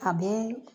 A bɛ